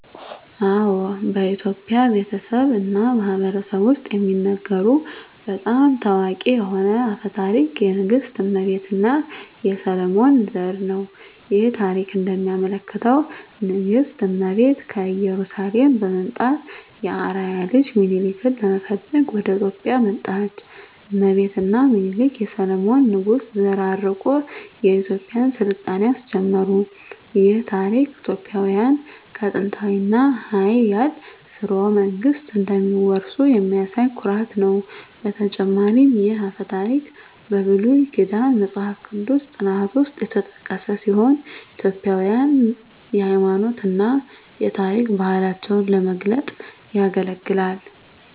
አዎ፣ በኢትዮጵያ ቤተሰብ እና ማህበረሰብ ውስጥ የሚነገሩ በጣም ታዋቂ የሆነ አፈ ታሪክ የንግሥት እመቤት እና የሰሎሞን ዘር ነው። ይህ ታሪክ እንደሚያመለክተው ንግሥት እመቤት ከኢየሩሳሌም በመምጣት የአርአያ ልጅ ሚኒሊክን ለመፈለግ ወደ ኢትዮጵያ መጣች። እመቤት እና ሚኒሊክ የሰሎሞን ንጉሥ ዘር አርቆ የኢትዮጵያን ሥልጣኔ አስጀመሩ። ይህ ታሪክ ኢትዮጵያውያን ከጥንታዊ እና ኃያል ሥርወ መንግሥት እንደሚወርሱ የሚያሳይ ኩራት ነው። በተጨማሪም ይህ አፈ ታሪክ በብሉይ ኪዳን መጽሐፍ ቅዱስ ጥናት ውስጥ የተጠቀሰ ሲሆን ኢትዮጵያውያንን የሃይማኖት እና የታሪክ ባህላቸውን ለመግለጽ ያገለግላል።